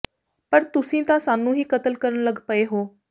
ਪਰ ਤੁਸੀਂ ਤਾਂ ਸਾਨੂੰ ਹੀ ਕਤਲ ਕਰਨ ਲੱਗ ਪਏ ਹੋ